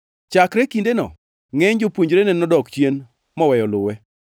Chakre kindeno ngʼeny jopuonjrene nodok chien moweyo luwe.